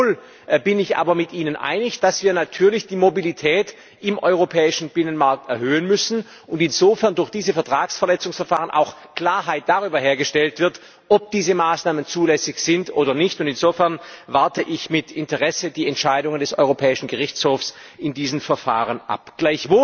Gleichwohl bin ich aber mit Ihnen einig, dass wir natürlich die Mobilität im europäischen Binnenmarkt erhöhen müssen und insofern durch diese Vertragsverletzungsverfahren auch Klarheit darüber hergestellt wird, ob diese Maßnahmen zulässig sind oder nicht und insofern warte ich mit Interesse die Entscheidung des Europäischen Gerichtshofs in diesen Verfahren ab.